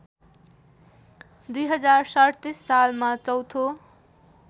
२०३७ सालमा चौथो